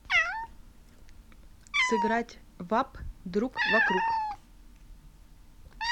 сыграть в апп другвокруг